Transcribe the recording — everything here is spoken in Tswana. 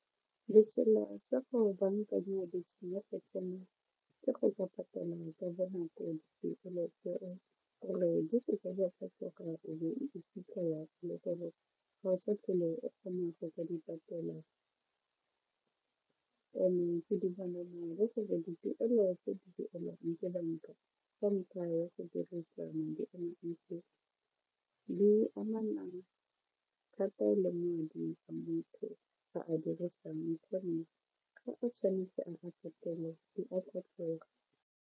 Ditsela tsa go bankanya tsa me ke go ka patala gore di se ke di a fetoga o be o iphitlhela e le gore ga o sa tlhole o kgona go ka di patela and ke dumalana tsa banka ka ntlha ya go dirisa madi a mantsi di amanang thata le madi a motho a a dirisang gonne ga o tshwanetse a go patele di a tlhokega.